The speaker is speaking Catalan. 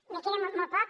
me queda molt poc